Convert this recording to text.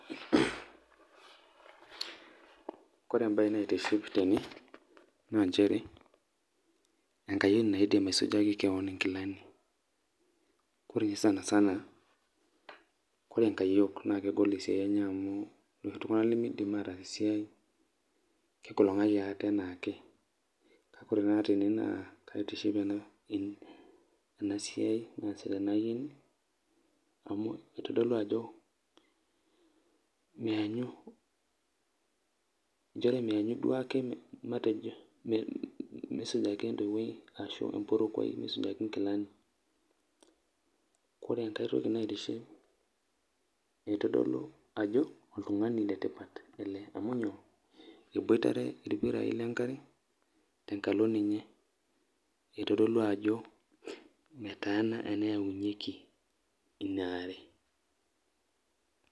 Kore embaye naitiship tene naa incherebenkayioni naidim aisujaki keon inkilani, kore ninye saisana, kore enkayiok naa kegol siai enye amuu ltunganak lemeidim ataas esiai, kake kore tene naa kaitiship ena siai naasiata ena aiyeni amu eitodolu ajo inchere meanyu duake matejo meisujaki etoiwoi ashu empurukoi inkilani, kore enkae toki naitiship naa eitodolu ajo oltungani le tipat ale a,u myoo, ebuatere irpiraii le nkare tenkalo ninye, eitadolu ajo metaana eneyaunyeki inaare.